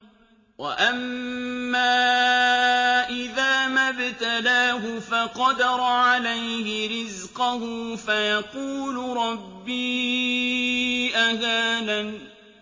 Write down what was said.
وَأَمَّا إِذَا مَا ابْتَلَاهُ فَقَدَرَ عَلَيْهِ رِزْقَهُ فَيَقُولُ رَبِّي أَهَانَنِ